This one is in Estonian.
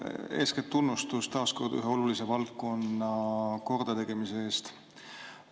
Eeskätt tunnustus taas kord ühe olulise valdkonna kordategemise eest.